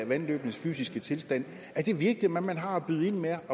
vandløbenes fysiske tilstand er det virkelig hvad man har at byde ind med